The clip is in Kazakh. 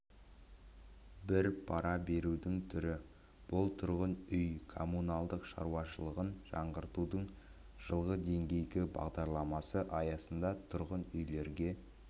бір пара берудің түрі бұл тұрғын үй-коммуналдық шаруашылығын жаңғыртудың жылға дейінгі бағдарламасы аясында тұрғын үйлерге